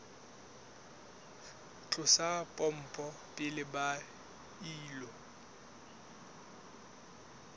tlosa pompo pele ba ilo